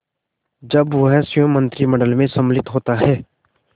जब वह स्वयं मंत्रिमंडल में सम्मिलित होता है